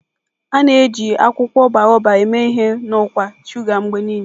A na-eji akwụkwọ Baobab eme ihe na ọkwa shuga mgbe niile.